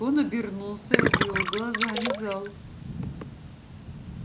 он обернулся и обвёл глазами зал